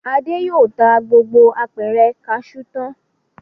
Adé yóò ta gbogbo apẹ̀rẹ̀ kaṣú tán.